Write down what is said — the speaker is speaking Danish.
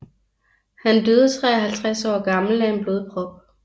Han døde 53 år gammel af en blodprop